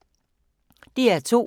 DR2